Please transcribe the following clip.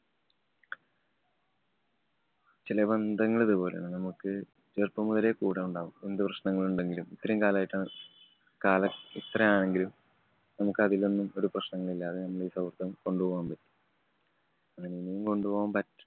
ചെല ബന്ധങ്ങള്‍ ഇതുപോലെയാണ്. നമുക്ക് ചെറുപ്പം മുതലേ കൂടെയുണ്ടാകും. എന്തു പ്രശ്നങ്ങളുണ്ടെങ്കിലും ഇത്രയും കാലായിട്ടും, കാലം ഇത്രയാണെങ്കിലും നമുക്ക് അതിലൊന്നും ഒരു പ്രശ്നങ്ങളില്ലാതെ നമ്മള്‍ ഈ സൗഹൃദം കൊണ്ട് പോകാന്‍ പറ്റും. എങ്ങേനേം കൊണ്ട് പോവാന്‍ പറ്റ്